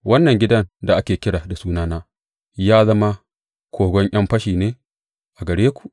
Wannan gidan da ake kira da Sunana ya zama kogon ’yan fashi ne a gare ku?